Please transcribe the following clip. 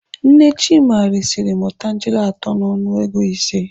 Nne Chima resiri m otangele atọ n'ọnụ ego ise.